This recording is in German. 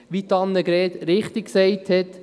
Wie Grossrätin Hebeisen richtig gesagt hat: